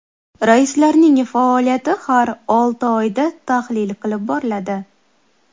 Raislarning faoliyati har olti oyda tahlil qilib boriladi.